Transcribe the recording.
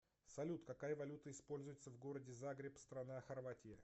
салют какая валюта используется в городе загреб страна хорватия